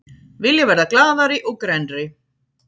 Vilja verða glaðari og grennri